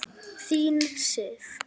Þín Sif.